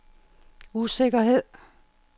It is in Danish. usikkerhed